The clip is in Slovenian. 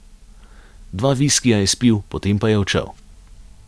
Dva viskija je spil, potem pa je odšel.